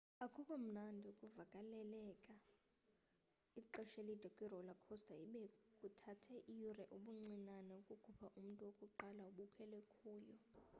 akukho mnandi ukuvaleleka ixesha elide kwi-roller coaster ibe kuthathe iyure ubuncinane ukukhupha umntu wokuqala obekhwele kuyo